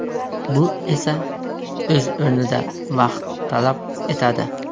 Bu esa o‘z o‘rnida vaqt talab etadi.